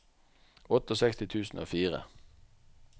sekstiåtte tusen og fire